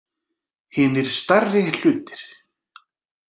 Hinir stærri hlutir.